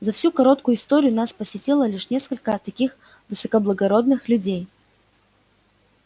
за всю короткую историю нас посетило лишь несколько таких высокоблагородных людей